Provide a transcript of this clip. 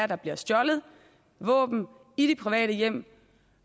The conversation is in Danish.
der bliver stjålet våben i private hjem